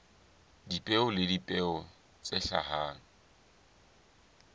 dipeo le dipeo tse hlahang